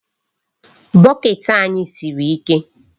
Bucket anyị siri ike.